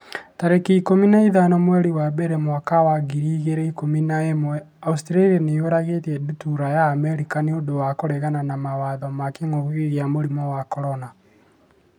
tarĩki ikũmi na ithano mweri wa mbere mwaka wa ngiri igĩrĩ na ikũmi na ĩmweAustralia nĩ yũragĩte ndutura ya Amerika 'nĩ ũndũ wa kũregana mawatho ma kĩngũki kia mũrimũ wa CORONA